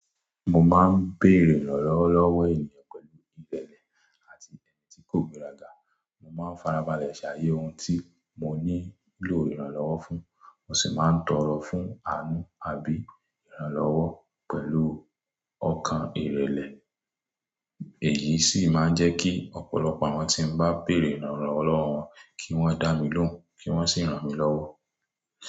Mo máa ń béèrè ìrànlọ́wọ́ lọ́wọ́ ènìyàn pẹ̀lú ìrẹ̀lẹ̀ àti ẹ̀mí tí kò gbéraga. Mo máa ń farabalẹ̀ ṣayẹ́ ohun tí mo nílò ìrànlọ́wọ́ fún, mo sì máa ń tọ̀rọ̀ fún àánú àbí ìrànlọ́wọ́ pẹ̀lú ọkàn ìrẹ̀lẹ̀. Èyí sì máa ń jẹ́ kí ọ̀pọ̀lọpọ̀ àwọn tí mo bá béèrè ìrànlọ́wọ́ wọn kí wọ́n dá mi lóhùn kí wọ́n sì ran mi lọ́wọ́.